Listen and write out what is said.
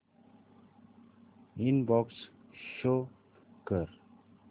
inbox show कर